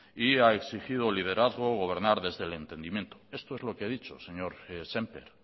y ha exigido liderazgo o gobernar desde el entendimiento esto es lo que he dicho señor sémper